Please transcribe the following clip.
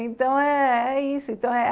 Então, é é isso.